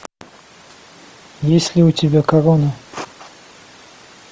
есть ли у тебя корона